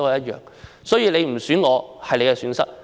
如果你不選我，是你的損失。